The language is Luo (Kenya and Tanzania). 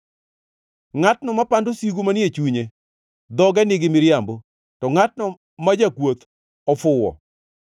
Ngʼatno mapando sigu manie chunye, dhoge nigi miriambo, to ngʼatno ma jakwoth ofuwo.